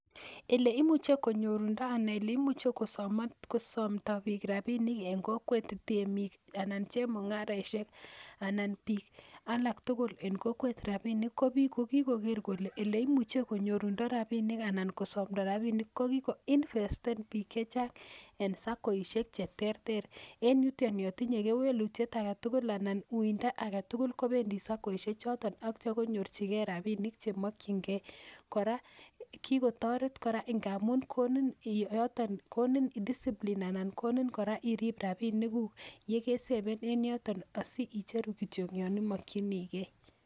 Eleimuche konyorundo anan eleimuche kosomdo bik rabinik en kokwettemij anan chemungaraishek anan bik tugul en kokwet rabinik ko bik kokikoker kole eleimuche konyorundo rabinik anan kosomdo rabinik kokikoinvesten chechang en sakoishek cheterter, en yuton yo tinye kewelutiet aketugul anan uindo aketugul kobendi sakoishechoton ak itio konyorjigee rabinik chemokyingee kotaa kikotoret, koraa ngamun konin yoton discipline anan konin koraa irip rabinikuk yekeseben en yoton asiicheru kityok yon imokyinigee.